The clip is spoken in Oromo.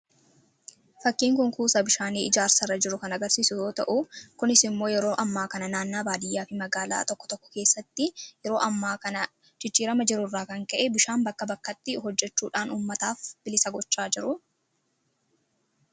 Fakkiin kun kuusaa bishaanii ijaarsarra jiru kan agarsiisu yoo ta'u kunis immoo yeroo ammaa kana naannaa baadiyyaa fi magaalaa tokko tokko keessatti yeroo ammaa kana jijjiirama jiru irraa kan ka'e bishaan bakka bakkatti hojjechuudhaan uummataaf bilisa gochaa jiru.